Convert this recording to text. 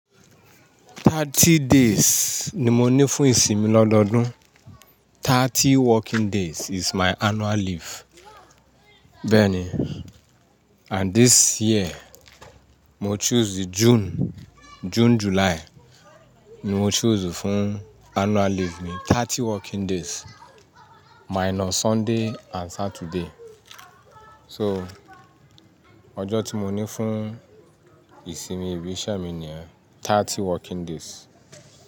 Thirty days ni mo ní fún ìsinmi lọ́dọọ́dún. Thirty working days is my annual leave. Bẹ́ẹ̀ ni, and this year, mo choose the June, June, July ni mo choose fún annual leave mi. Thirty working days minus Sunday and Saturday. So, ọjọ́ tí mo ní fún ìsinmi ibi iṣẹ́ mi ni yen, thirty working days.